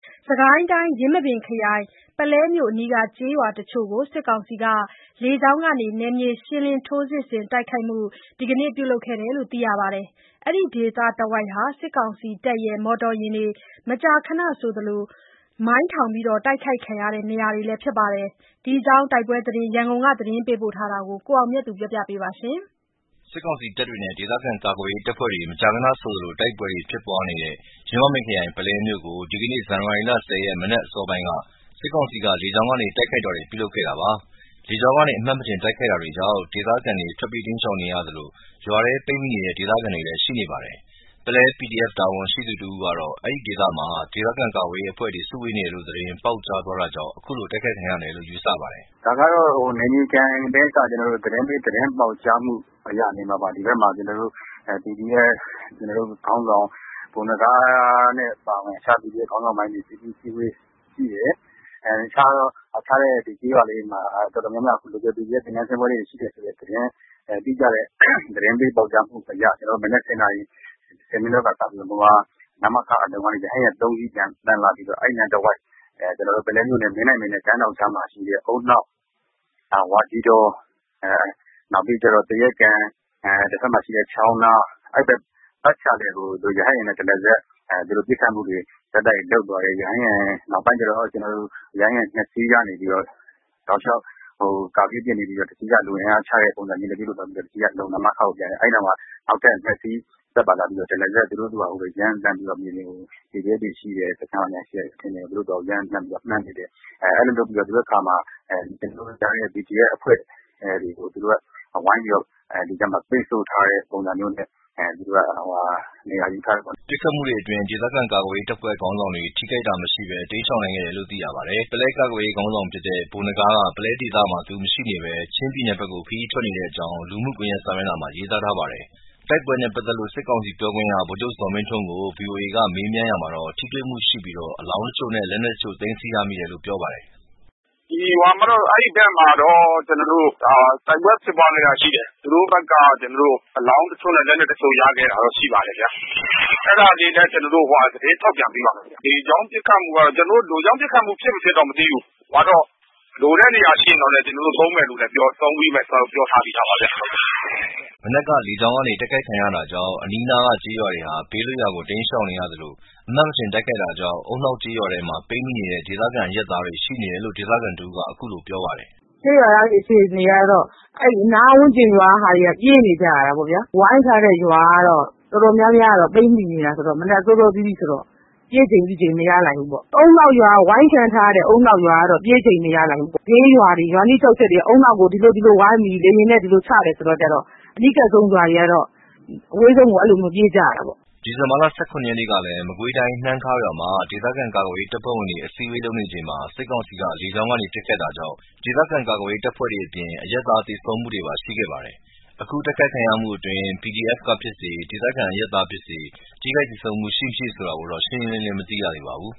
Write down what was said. စစ်ကိုင်းတိုင်း ယင်းမာပင်ခရိုင် ပုလဲမြို့အနီးကျေးရွာတချို့ကို စစ်ကောင်စီက လေကြောင်းကနေ နယ်မြေရှင်းလင်း ထိုးစစ်ဆင်တိုက်ခိုက်မှု ဒီကနေ့ ပြုလုပ်ခဲ့တယ်လို့သိရပါတယ်။ အဲဒီဒေသတဝိုက်ဟာ စစ်ကောင်စီတပ် မော်တော်ယာဉ်တွေ မကြာမကြာဆိုသလို မိုင်းထောင်တိုက်ခိုက်ခံရတဲ့နေရာတွေလည်းဖြစ်ပါတယ်။ ဒီအကြောင်းတိုက်ပွဲသတင်း ရန်ကုန်ကသတင်းရေးသားပေးပို့တာကို ကိုအောင်မြတ်သူက တင်ပြပေးထားပါတယ်။ စစ်ကောင်စီတပ်တွေနဲ့ ဒေသခံကာကွယ်ရေးတပ်ဖွဲ့တွေမကြာခဏဆိုသလို တိုက်ပွဲဖြစ် ပွားနေတဲ့ ယင်းမာပင်ခရိုင် ပုလဲမြို့ကို ဒီကနေ့ ဒီဇင်ဘာ ၁၀ ရက် မနက်အစောပိုင်းက စစ်ကောင်စီက လေကြောင်းကနေ တိုက်ခိုက်တာတွေပြုလုပ်ခဲ့တာပါ။လေကြောင်းကနေ အမှတ်မထင် တိုက်ခိုက်တာကြောင့် ဒေသခံတွေ ထွက်ပြေးတိမ်းရှောင်နေကြသလို ရွာထဲ ပိတ်မိနေတဲ့ ဒေသခံတွေလည်း ရှိနေပါတယ်။ ပုလဲ PDF တာဝန်ရှိသူတဦးကတော့ အဲဒီဒေသမှာ ဒေသခံကာကွယ်ရေးအဖွဲ့တွေ စုဝေးနေတယ်ဆိုတဲ့ သတင်းပေါက်ကြားတာကြောင့် အခုလို တိုက်ခိုက်ခံရတယ်လို့ ယူဆပါတယ်။ “ဒါက နယ်မြေခံသတင်းပေး သတင်းပေါက်ကြားမှုကြောင့်နေမှာပါ။ ကျနော်တို့ PDF ခေါင်းဆောင် ဗိုလ်နဂါးနဲ့အပါအဝင် တခြား PDF ခေါင်းဆောင်တွေ အစည်းအဝေး ရှိတယ်။ အခြားကျေးရွာတွေမှာ PDF တွေရဲ့ သင်တန်းဆင်းပွဲရှိတယ်ဆိုပြီး တိကျတဲ့ သတင်းပေးပေါက်ကြားမှုကြောင့် မနက် ၁၀ နာရီ ၁၀ မိနစ်လောက်ကစပြီး နမခကနေ ရဟတ်ယာဉ် ၃ စီး ပျံသန်းလာပြီးတော့ ပုလဲမြို့နယ် မင်းတိုင်ပင်နဲ့ ကမ်းထောင့်ကြားမှာရှိတဲ့ ဦးနှောက် ၊ ဝါးကြီးတော ၊ သရက်ခြံ ၊ ချောင်းနား အဲ့ဘက် ပတ်ချာလည်ကို ရဟတ်ယာဉ်နဲ့ တရစပ် ပစ်ခတ်သွားတယ်။ နောက်ပိုင်း ရဟတ်ယာဉ် ၂ စီးကနေ ကာပစ်ပစ် ပေးပြီးတော့ ၁ စီးက လူအင်အား ချတဲ့ပုံစံမျိုးနဲ့ ပြုလုပ်သွားပြီးတော့ ၁ စီးက နမခကို ပြန်တယ်။ အဲ့နောက်မှာ ၂ စီးက PDF တွေရှိတယ်ဆိုတဲ့ ရွာတွေကို ရမ်းသမ်းပြီးမှန်းပစ်တယ်။ အဲ့လိုတွေလုပ်ပြီးတဲ့အခါမှာ PDF တွေကို ဝိုင်းဝန်းပိတ်ဆို့ထားတဲ့ပုံစံမျိုးနဲ့ နေရာယူထားတဲ့ပုံစံမျိုးရှိနေတယ်။” ပစ်ခတ်မှုတွေအတွင်း ဒေသခံကာကွယ်ရေးတပ်ဖွဲ့ခေါင်းဆောင်တွေ ထိခိုက်မိတာမရှိဘဲ တိမ်းရှောင်နိုင်ခဲ့တယ်လို့သိရပါတယ်။ပုလဲကာကွယ်ရေးခေါင်းဆောင်ဖြစ်တဲ့ ဗိုလ်နဂါးက ပုလဲဒေသမှာ သူရှိမနေဘဲ ချင်းပြည်နယ်ဘက်ကို ခရီးထွက်နေတဲ့အကြောင်း လူမှုကွန်ယက် စာမျက်နှာမှာ ရေးသားထားပါတယ်။ တိုက်ပွဲနဲ့ပတ်သက်လို့ စစ်ကောင်စီ ပြောခွင့်ရ ဗိုလ်ချုပ် ဇော်မင်းထွန်းကို ဗွီအိုအေက မေးမြန်းရာမှာတော့ ထိတွေ့မှုရှိပြီး အလောင်းတချို့နဲ့ လက်နက်တချို့ သိမ်းဆည်းရမိတယ်လို့ ပြောပါတယ်။ “အဲ့ဘက်မှာတော့ တိုက်ပွဲဖြစ်ပွားခဲ့တာရှိတယ်။ သူတို့ဘက်က အလောင်းတချို့နဲ့ လက်နက်တချို့ ရခဲ့တာတော့ရှိတယ်။ အဲ့ဒါတွေလည်း ကျနော်တို့ သတင်းထုတ်ပြန်ပေးပါမယ်။ လေကြောင်းပစ်ခတ်မှုကတော့ ဖြစ်မဖြစ်တော့မသိဘူး။ လိုတဲ့နေရာရှိရင် သုံးပေးမယ် သုံးမယ်လို့ ကျနော်တို့ ပြောထားပြီးသားပါခင်ဗျ။” မနက်က လေကြောင်းကနေ တိုက်ခိုက်ခံရတာကြောင့် အနီးနားက ကျေးရွာတွေဟာ ဘေးလွတ်ရာကို တိမ်းရှောင်နေရသလို အမှတ်မထင် တိုက်ခိုက်တာကြောင့် ဦးနှောက်ကျေးရွာထဲမှာ ပိတ်မိနေတဲ့ ဒေသခံ အရပ်သားတွေရှိနေတယ်လို့ ဒေသခံတဦးကအခုလိုပြောပါတယ်။ “ကျေးရွာသားတွေအခြေအနေက ပြေးနေကြရတာပေါ့။ ဝိုင်းထားတဲ့ရွာက တော်တော်များများက ပိတ်မိနေတာ ဆိုတော့ မနက်စောစောစီးစီးဆိုတော့ ပြေးချိန်မရလိုက်ဘူး။ ဝိုင်းခံထားရတဲ့ ဦးနှောက်ရွာက ပြေးချိန်မရလိုက်ဘူး။ အနီးက ကျေးရွာတွေက ဦးနှောက်ကို လေယာဉ်နဲ့ ဒီလိုဒီလို ချပြီဆိုတော့ အနီးကပ်ဆုံး ရွာတွေကတော့ အဝေးဆုံးကိုပြေးကြရတာပေါ့။” ဒီဇင်ဘာ ၁၇ ရက်ကလည်း မကွေးတိုင်း နှမ်းခါးရွာမှာ ဒေသခံကာကွယ်ရေး တပ်ဖွဲ့ဝင်တွေ အစည်းအဝေးလုပ်နေချိန် စစ်ကောင်စီက လေကြောင်းကနေ ပစ်ခတ်တာကြောင့် ဒေသခံကာကွယ်ရေးတပ်ဖွဲ့ဝင်တွေအပြင် အရပ်သားတွေသေဆုံးတာတွေရှိခဲ့ပါတယ်။ အခု တိုက်ခိုက်ခံရမှုအတွင်း PDF ကဖြစ်စေ၊ ဒေသခံအရပ်သားဖြစ်စေ ထိခိုက်သေဆုံးမှုရှိမရှိဆိုတာကိုတော့ ရှင်းရှင်းလင်းလင်းမသိရသေးပါဘူ